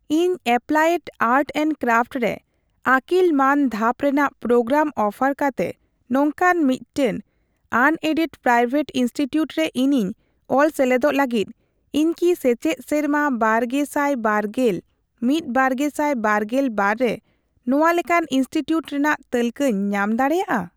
ᱤᱧ applied art and craft ᱨᱮ ᱟᱹᱠᱤᱞ ᱢᱟᱹᱱ ᱫᱷᱟᱯ ᱨᱮᱱᱟᱜ ᱯᱨᱳᱜᱨᱟᱢ ᱚᱯᱷᱟᱨ ᱠᱟᱛᱮ ᱱᱚᱝᱠᱟᱱ ᱢᱤᱫᱴᱟᱝ ᱟᱱᱮᱰᱮᱰᱼᱯᱨᱟᱭᱣᱮᱴ ᱤᱱᱥᱴᱤᱴᱤᱭᱩᱴ ᱨᱮ ᱤᱧᱤᱧ ᱚᱞ ᱥᱮᱞᱮᱫᱚᱜ ᱞᱟᱹᱜᱤᱫ, ᱤᱧ ᱠᱤ ᱥᱮᱪᱮᱫ ᱥᱮᱨᱢᱟ ᱵᱟᱨᱜᱮᱥᱟᱭᱵᱟᱨᱜᱮᱞ ᱢᱤᱛᱼᱵᱟᱨᱜᱮᱥᱟᱭ ᱵᱟᱨᱜᱮᱞ ᱵᱟᱨ ᱨᱮ ᱱᱚᱣᱟ ᱞᱮᱠᱟᱱ ᱤᱱᱥᱴᱤᱴᱤᱭᱩᱴ ᱨᱮᱱᱟᱜ ᱛᱟᱹᱞᱠᱟᱹᱧ ᱧᱟᱢ ᱫᱟᱲᱮᱭᱟᱜᱼᱟ ?